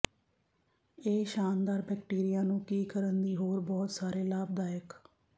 ਇਹ ਸ਼ਾਨਦਾਰ ਬੈਕਟੀਰੀਆ ਨੂੰ ਕੀ ਕਰਨ ਦੀ ਹੋਰ ਬਹੁਤ ਸਾਰੇ ਲਾਭਦਾਇਕ